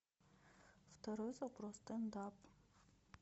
второй запрос стендап